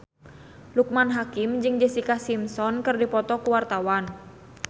Loekman Hakim jeung Jessica Simpson keur dipoto ku wartawan